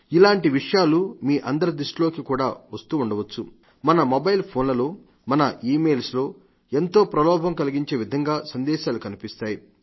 ఇలాంటి విషయాలు మీ అందరి దృష్టిలోకి కూడా వస్తుండవచ్చు మన మొబైల్ ఫోన్లలో మన ఈవెయిల్స్ లో ఎంతో ప్రలోభం కలిగించే విధంగా సందేశాలు కనిపిస్తాయి